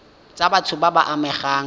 tsa batho ba ba amegang